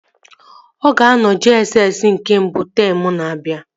Ọ ga-anọ JSS nke mbụ teemụ na-abịa